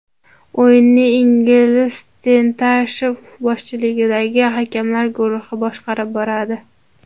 O‘yinni Ilgiz Tantashev boshchiligidagi hakamlar guruhi boshqarib boradi.